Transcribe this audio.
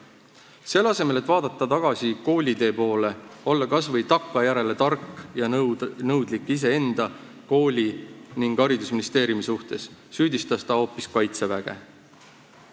Selle asemel, et vaadata tagasi koolitee poole, olla kas või takkajärele tark ja nõudlik iseenda, kooli ning haridusministeeriumi suhtes, süüdistas ta hoopis kaitseväge.